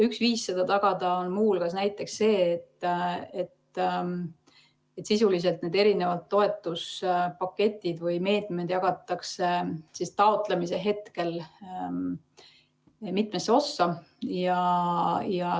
Üks viis seda tagada on muu hulgas näiteks see, et sisuliselt need toetuspaketid või ‑meetmed jagatakse taotlemise hetkel mitmesse osasse.